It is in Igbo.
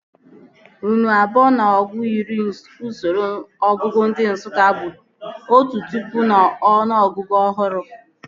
Nnu abụọ na ọgụ iri n'usoro ọnụọgụgụ ndị Nsụka bụ otu pụkụ n'ọnụ ọgụgụ ọhụrụ